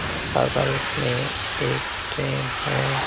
बगल में एक ट्रेन है।